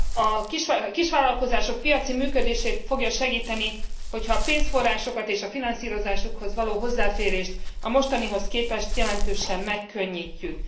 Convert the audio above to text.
A kisvállalkozások piaci működését fogja segíteni, hogyha a pénzforrásokat és a finanszírozásukhoz való hozzáférést a mostanihoz képest jelentősen megkönnyítjük.